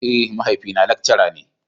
Eh, mahaifi na lekcara ne.